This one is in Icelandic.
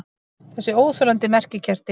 Þessi óþolandi merkikerti!